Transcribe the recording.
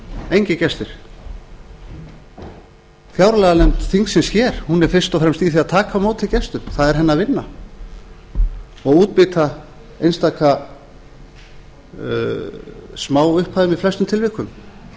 engir gestir fjárlaganefnd þingsins hér er fyrst og fremst í því að taka á móti gestum það er hennar vinna og útbýta einstaka smáupphæðum í flestum tilvikum